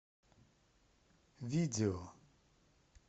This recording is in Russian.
видео